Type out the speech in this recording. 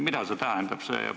Mida see tähendab?